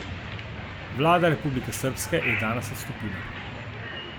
Vlada Republike srbske je danes odstopila.